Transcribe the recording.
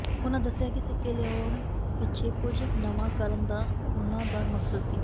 ਉਨ੍ਹਾਂ ਦੱਸਿਆ ਕਿ ਸਿੱਕੇ ਲਿਆਉਣ ਪਿੱਛੇ ਕੁਝ ਨਵਾਂ ਕਰਨ ਦਾ ਉਨ੍ਹਾਂ ਦਾ ਮਕਸਦ ਸੀ